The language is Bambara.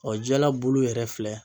jala bulu yɛrɛ filɛ.